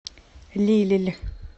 лилль